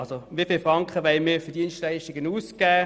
Wie viele Franken wollen wir für Dienstleistungen ausgeben?